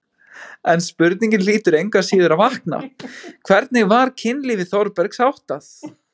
En spurningin hlýtur engu að síður að vakna: hvernig var kynlífi Þórbergs háttað?